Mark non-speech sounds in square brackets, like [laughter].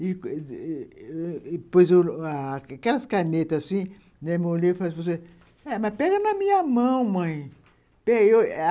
[unintelligible] pois, [unintelligible] aquelas canetas assim, molhei, falei assim, eh mas pega na minha mão, mãe.